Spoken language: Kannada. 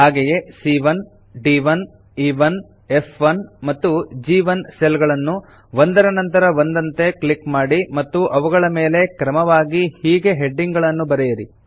ಹಾಗೆಯೇ ಸಿಎ1 ದ್1 ಇ1 ಫ್1 ಮತ್ತು ಜಿ1 ಸೆಲ್ ಗಳನ್ನು ಒಂದರ ನಂತರ ಒಂದಂತೆ ಕ್ಲಿಕ್ ಮಾಡಿ ಮತ್ತು ಅವುಗಳ ಮೇಲೆ ಕ್ರಮವಾಗಿ ಹೀಗೆ ಹೆಡಿಂಗ್ ಗಳನ್ನು ಬರೆಯಿರಿ